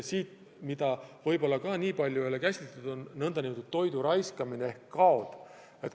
Ja mida võib-olla kuigi palju ei ole käsitletud, on nn toidu raiskamine, kaod.